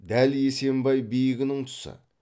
дәл есембай биігінің тұсы